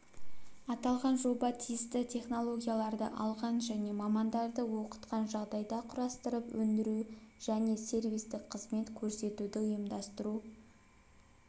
аталған жоба тиісті технологияларды алған және мамандарды оқытқан жағдайда құрастырып өндіру және сервистік қызмет көрсетуді ұйымдастыру